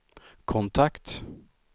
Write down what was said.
kontakt